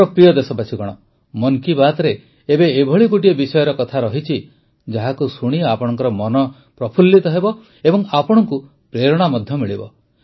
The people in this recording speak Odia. ମୋର ପ୍ରିୟ ଦେଶବାସୀଗଣ ମନ୍ କି ବାତ୍ରେ ଏବେ ଏଭଳି ଗୋଟିଏ ବିଷୟର କଥା ରହିଛି ଯାହାକୁ ଶୁଣି ଆପଣଙ୍କ ମନ ଖୁସିହେବ ଏବଂ ଆପଣଙ୍କୁ ପ୍ରେରଣା ମଧ୍ୟ ମିଳିବ